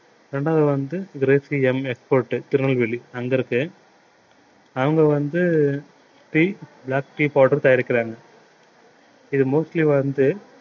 இரண்டாவது வந்து எம் export திருநெல்வேலி அங்க இருக்கு அவங்க வந்து tea black tea powder தயாரிக்கிறாங்க இது mostly வந்து